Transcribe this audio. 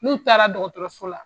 N'u taara dɔgɔtɔrɔso la